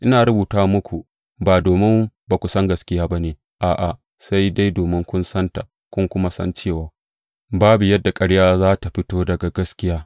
Ina rubuta muku ba domin ba ku san gaskiya ba ne, a’a, sai dai domin kun santa, kun kuma san cewa babu yadda ƙarya za tă fito daga gaskiya.